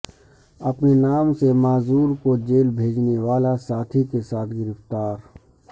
اپنے نام سے معذور کو جیل بھیجنے والا ساتھی کے ساتھ گرفتار